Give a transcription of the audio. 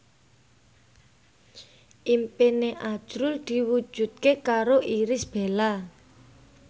impine azrul diwujudke karo Irish Bella